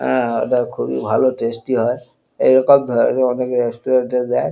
উম ইটা খুবই ভালো টেস্টি হয় এই রকম ধরনের অনেক রেস্টুরেন্ট -এ দেয়।